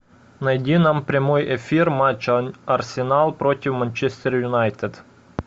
найди нам прямой эфир матча арсенал против манчестер юнайтед